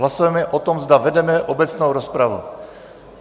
Hlasujeme o tom, zda vedeme obecnou rozpravu.